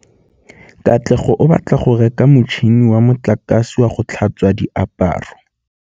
Katlego o batla go reka motšhine wa motlakase wa go tlhatswa diaparo.